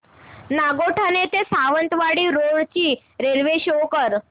नागोठणे ते सावंतवाडी रोड ची railway show कर